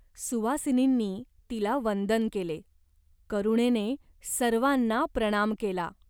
सुवासिनींनी तिला वंदन केले. करुणेने सर्वाना प्रणाम केला.